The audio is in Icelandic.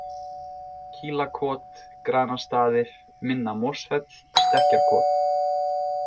Kílakot, Granastaðir, Minna-Mosfell, Stekkjarkot